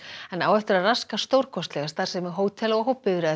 en á eftir að raska stórkostlega starfsemi hótela og